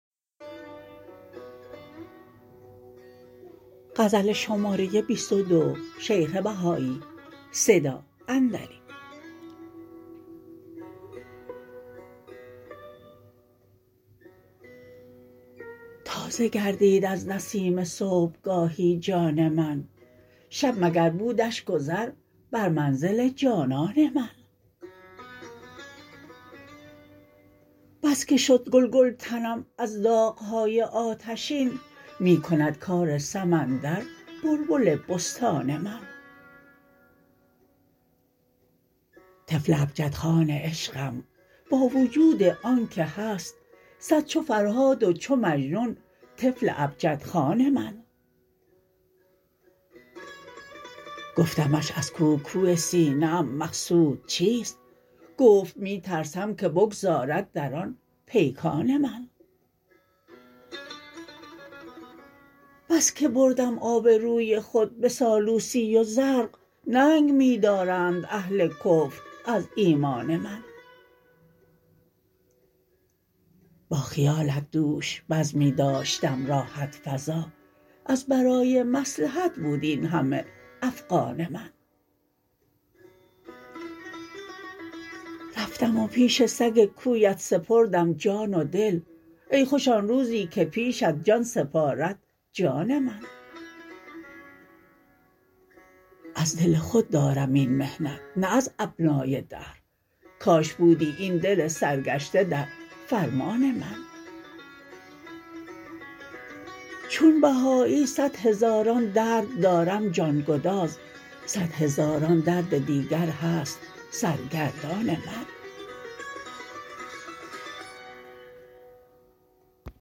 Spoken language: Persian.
تازه گردید از نسیم صبحگاهی جان من شب مگر بودش گذر بر منزل جانان من بس که شد گل گل تنم از داغهای آتشین می کند کار سمندر بلبل بستان من طفل ابجد خوان عشقم با وجود آنکه هست صد چو فرهاد و چو مجنون طفل ابجد خوان من گفتمش از کاو کاو سینه ام مقصود چیست گفت می ترسم که بگذارد در آن پیکان من بس که بردم آبروی خود به سالوسی و زرق ننگ می دارند اهل کفر از ایمان من با خیالت دوش بزمی داشتم راحت فزا از برای مصلحت بود اینهمه افغان من رفتم و پیش سگ کویت سپردم جان و دل ای خوش آن روزی که پیشت جان سپارد جان من از دل خود دارم این محنت نه از ابنای دهر کاش بودی این دل سرگشته در فرمان من چون بهایی صدهزاران درد دارم جانگداز صدهزاران درد دیگر هست سرگردان من